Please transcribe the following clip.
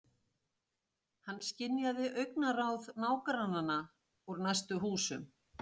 Hann skynjaði augnaráð nágrannanna úr næstu húsum.